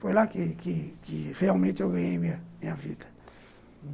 Foi lá que que que realmente eu ganhei minha minha vida.